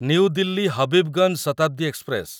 new Delhi Habibganj Shatabdi express